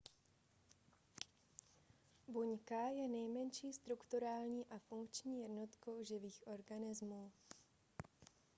buňka je nejmenší strukturální a funkční jednotkou živých organismů